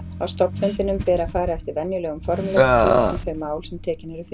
Á stofnfundinum ber að fara eftir venjulegum formreglum um þau mál sem tekin eru fyrir.